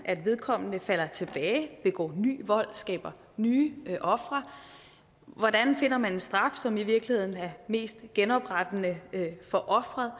at vedkommende falder tilbage begår ny vold skaber nye ofre hvordan man finder en straf som i virkeligheden er mest genoprettende for offeret